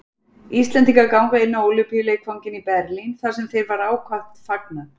Íslendingar ganga inn á Ólympíuleikvanginn í Berlín, þar sem þeim var ákaft fagnað.